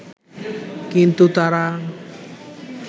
কিন্তু তারা